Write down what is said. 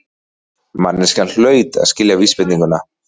Manneskjan hlaut að skilja vísbendinguna.